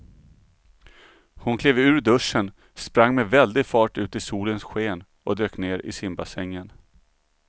Hon klev ur duschen, sprang med väldig fart ut i solens sken och dök ner i simbassängen.